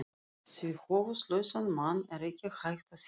Því höfuðlausan mann er ekki hægt að hengja.